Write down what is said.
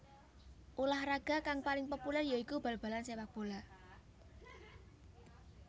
Ulah raga kang paling populer ya iku Balbalan sepakbola